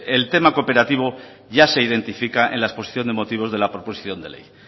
el tema cooperativo ya se identifica en la exposición de motivos de la proposición de ley